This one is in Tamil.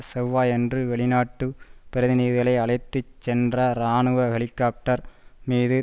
செவ்வாயன்று வெளிநாட்டுப் பிரதிநிதிகளை அழைத்து சென்ற இராணுவ ஹெலிகொப்டர் மீது